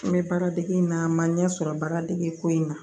N bɛ baaradege in na n ma ɲɛ sɔrɔ baara degeko in na